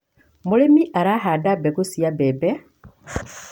Mũrĩmi arahanda mbegũ cia mbembe